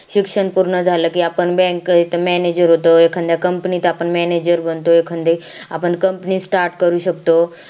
शिक्षण पूर्ण झालं कि आपण bank त आपण manager होतो एखादया company त आपण manager बनतो एखादया company start करू शकतो